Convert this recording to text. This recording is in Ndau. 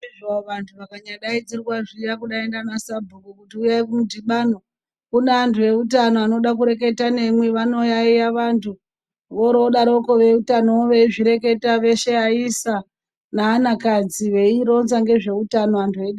Vantu vakanyadaidzirwa zviya kudai ndivana sabhuku kuti uyai kumudhibano. Kune antu eutano anode kureta memwi vanoyaiya vantu, oro vodaroko veutano veizireketa veshe vaisa neanakadzi veironza ngezveutano vantu veida.